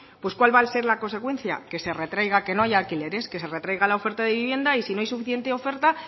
pues cuál va a ser la consecuencia que se retraiga que no haya alquileres que se retraiga la oferta de vivienda y si no hay suficiente oferta